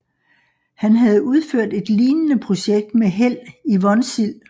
Han havde udført et lignende projekt med held i Vonsild